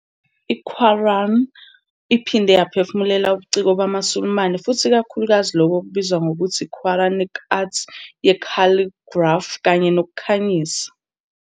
I-Quran iphinde yaphefumulela ubuciko bamaSulumane futhi ikakhulukazi lokho okubizwa ngokuthi yi-Quranic arts ye- calligraphy kanye nokukhanyisa.